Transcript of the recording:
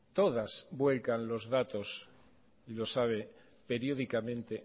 todas vuelcan los datos y lo sabe periódicamente